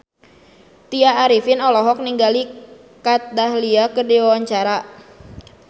Tya Arifin olohok ningali Kat Dahlia keur diwawancara